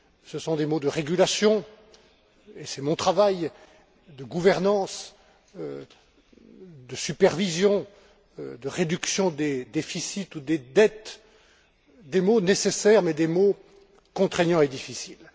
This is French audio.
Ce sont des mots de régulation et c'est mon travail de gouvernance, de supervision, de réduction des déficits ou des dettes, des mots nécessaires, mais des mots contraignants et difficiles.